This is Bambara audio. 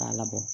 K'a labɔ